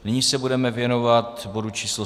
Nyní se budeme věnovat bodu číslo